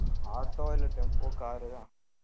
auto இல்லை tempo, car உ தான்